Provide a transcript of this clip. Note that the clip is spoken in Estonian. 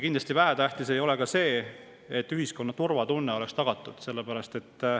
Kindlasti ei ole vähetähtis ka see, et ühiskonna turvatunne oleks tagatud.